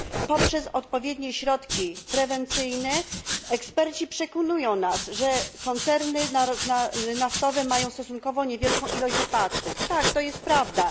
Poprzez odpowiednie środki prewencyjne eksperci przekonują nas, że koncerny naftowe mają stosunkowo niewielką ilość wypadków tak, to jest prawda.